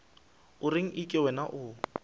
o reng eke wena o